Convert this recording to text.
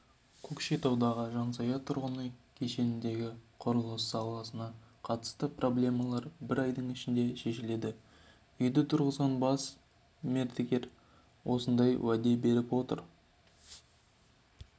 көкшетаудағы жансая тұрғын үй кешеніндегі құрылыс сапасына қатысты проблемалар бір айдың ішінде шешіледі үйді тұрғызған бас мердігер осындай уәде беріп отыр